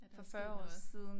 Ja der er sket noget